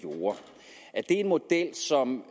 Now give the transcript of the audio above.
en model som